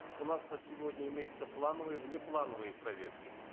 у нас на сегодня имеются плановые внеплановые проверки